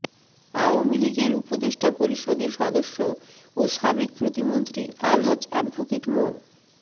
আওয়ামী লীগের উপদেষ্টা পরিষদের সদস্য ও সাবেক প্রতিমন্ত্রী আলহাজ অ্যাডভোকেট মো